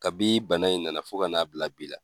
Kabi bana in na na fo ka n'a bila bi la.